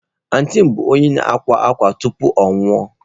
Antịị m bụ onye akwa akwa tupu ọ anwụọ.